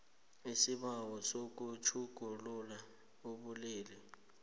isibawo sokutjhugulula ubulili